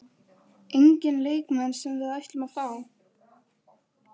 Enginn leikmenn sem við ætlum að fá?